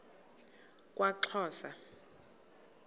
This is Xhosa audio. kwaxhosa